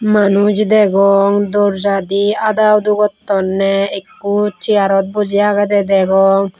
manuj degong dorjadi adaudo gottonney ikko chearot boji agede degong.